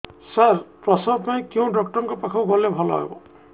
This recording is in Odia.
ସାର ପ୍ରସବ ପାଇଁ କେଉଁ ଡକ୍ଟର ଙ୍କ ପାଖକୁ ଗଲେ ଭଲ ହେବ